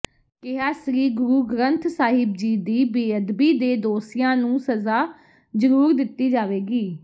ਕਿਹਾ ਸ੍ਰੀ ਗੁਰੂ ਗਰੰਥ ਸਾਹਿਬ ਜੀ ਦੀ ਬੇਅਦਬੀ ਦੇ ਦੋਸੀਆਂ ਨੂੰ ਸਜ਼ਾ ਜਰੂਰ ਦਿੱਤੀ ਜਾਵੇਗੀ